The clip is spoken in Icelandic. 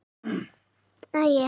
Drottin gæti þín göfuga sál.